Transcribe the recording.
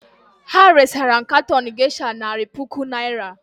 Ha resara m katon gesha nari puku naịra.